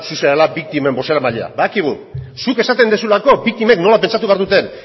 zu zarela biktimen bozeramailea badakigu zuk esaten duzulako biktimek nola pentsatu behar duten